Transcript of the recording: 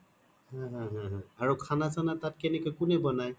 হা হা হা আৰু খানা চানা তাত কোনে বনাই ?